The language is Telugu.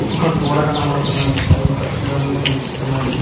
ఒక గోడ కనబడుతున్నది అది పచ్చని రంగంలో కనిపిస్తున్నది.